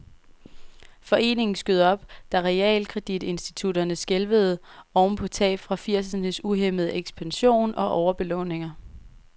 Foreningen skød op, da realkreditinstitutterne skælvede oven på tab fra firsernes uhæmmede ekspansion og overbelåninger.